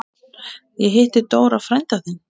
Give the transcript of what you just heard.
Ég hitti Dóra frænda þinn.